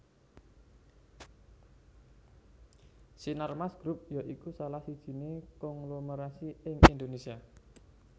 Sinarmas Group ya iku salah sijiné konglomerasi ing Indonésia